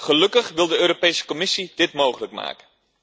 Gelukkig wil de Europese Commissie dit mogelijk maken.